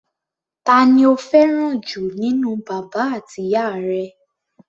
Ta ni o fẹ́ràn jù nínú bàbá àti ìyá rẹ?